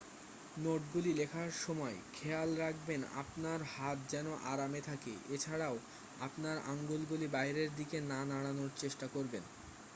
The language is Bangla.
নোটগুলি লেখার সময় খেয়াল রাখবেন আপনার হাত যেন আরামে থাকে এ ছাড়াও আপনার আঙুলগুলি বাইরের দিকে না নাড়ানোর চেষ্টা করবেন